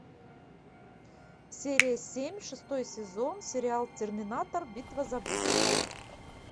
серия семь шестой сезон сериал терминатор битва за будущее